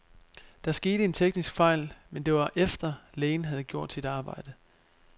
Der skete en teknisk fejl, men det var efter, lægen havde gjort sit arbejde.